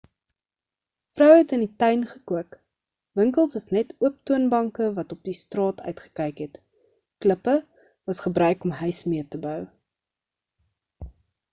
vroue het in die tuin gekook winkels is net oop toonbanke wat op die straat uitgekyk het klippe was gebruik om huis mee te bou